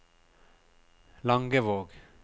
Langevåg